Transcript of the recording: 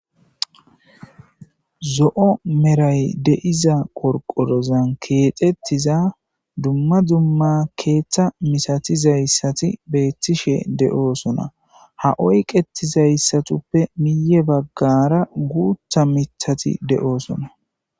zo7o meray deiza qorqorozan keexettiza dumma dumma keeththa misatizayssati beettishe de7oosona ha oyqetizayssatuppe miye baggara guutha mithati de7oosona